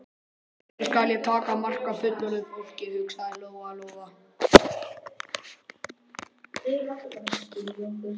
Aldrei skal ég taka mark á fullorðnu fólki, hugsaði Lóa-Lóa.